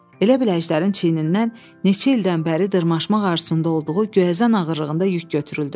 Elə bil Əjdərin çiynindən neçə ildən bəri dırmaşmaq arzusunda olduğu göyəzən ağırlığında yük götürüldü.